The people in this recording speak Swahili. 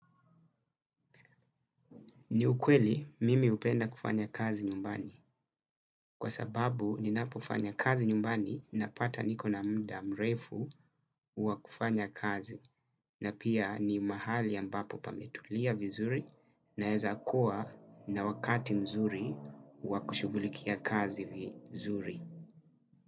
Ni ukweli mimi upenda kufanya kazi nyumbani kwa sababu ninapofanya kazi nyumbani napata niko na muda mrefu wa kufanya kazi na pia ni mahali ambapo pametulia vizuri naeza kuwa na wakati mzuri wa kushugulikia kazi vizuri.